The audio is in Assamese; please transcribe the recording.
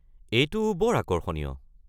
এইটো বৰ আকৰ্ষণীয়।